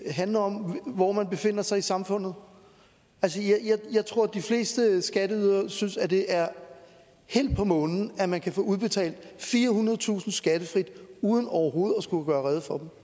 det handler om hvor man befinder sig i samfundet jeg tror at de fleste skatteydere synes det er helt på månen at man kan få udbetalt firehundredetusind kroner skattefrit uden overhovedet at skulle gøre rede for